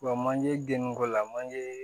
Wa manje geni ko la manje